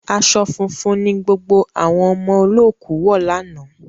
Aṣọ funfun ni gbogbo àwọn ọmọ olóòkú wọ̀ lánàá